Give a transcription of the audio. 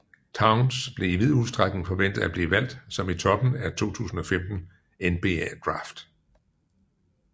Towns blev i vid udstrækning forventet at blive valgt som i toppen af 2015 NBA draft